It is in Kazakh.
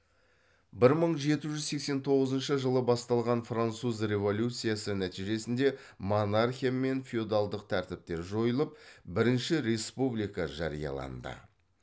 бір мың жеті жүз сексен тоғызыншы жылы басталған француз революциясы нәтижесінде монархия мен феодалдық тәртіптер жойылып бірінші республика жарияланды